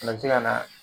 O fana bɛ se ka na